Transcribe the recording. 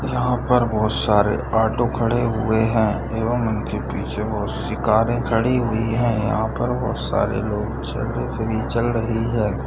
यहां पर बहुत सारे ऑटो खड़े हुए है एवम उनके पीछे बहुत सी कारे खड़ी हुई है। यहां पर बहुत सारे लोग चल रही है।